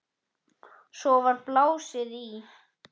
Svo var blásið í.